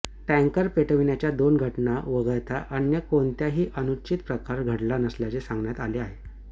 tanker पेटविण्याच्या दोन घटना वगळता अन्य कोणताही अनुचित प्रकार घडला नसल्याचे सांगण्यात आले